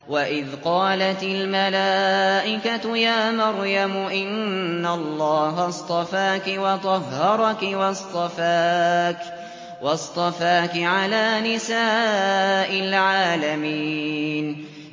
وَإِذْ قَالَتِ الْمَلَائِكَةُ يَا مَرْيَمُ إِنَّ اللَّهَ اصْطَفَاكِ وَطَهَّرَكِ وَاصْطَفَاكِ عَلَىٰ نِسَاءِ الْعَالَمِينَ